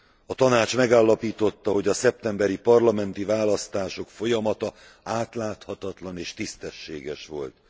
A Tanács megállapította, hogy a szeptemberi parlamenti választások folyamata átláthatatlan és tisztességes volt.